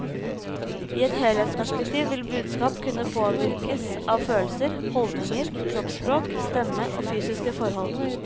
I et helhetsperspektiv vil budskap kunne påvirkes av følelser, holdninger, kroppsspråk, stemme og fysiske forhold.